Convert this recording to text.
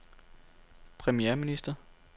premierminister